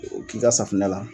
K'i ka safinɛ la